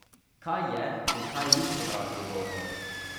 Kaj je in kaj ni sovražni govor?